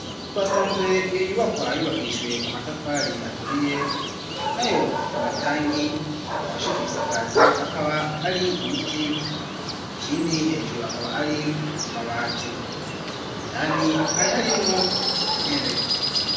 Twasanze iyo nyubakwa yubakishijwe amatafari aturiye nayo amatangi afashe ibisakazo akaba ari ibiti ikindi hejuru akaba ari amabati indani hari harimwo intebe.